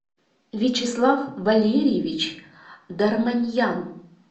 вячеслав валерьевич дарманьян